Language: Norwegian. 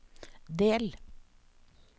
del